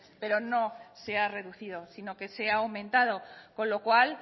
pero no se ha reducido sino que se ha aumentado con lo cual